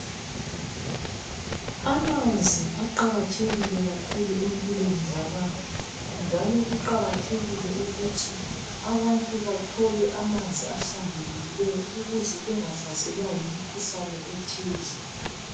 Amanzi aqakathekile kakhulu empilweni zabantu, njalo kuqakathekile ukuthi abantu bathole amanzi ahlambulukileyo ukuze bangahlaselwa yimikhuhlane ethize.